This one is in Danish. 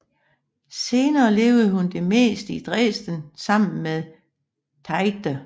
Senere levede hun mest i Dresden sammen med Tiedge